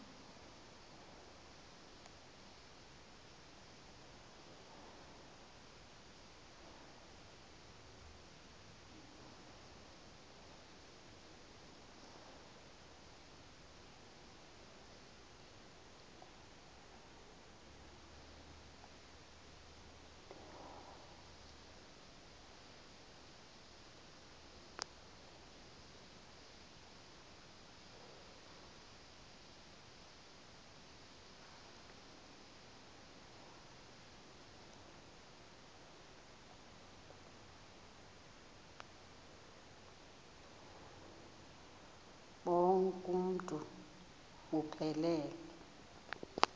bonk uuntu buphelele